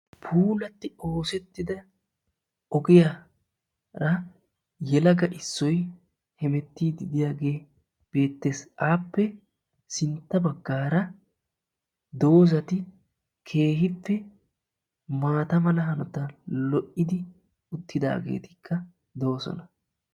Puulatti oosettida ogiyara yelaga Issoyi hemettiiddi diyagee beettes. Appe sintta baggaara doozati keehippe maata mala hanotan lo'idi uttidaageetikka doosona.